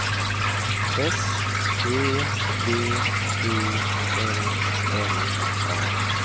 S E V I L L A